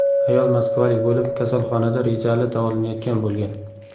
Ayol moskvalik bo‘lib, kasalxonada rejali davolanayotgan bo‘lgan.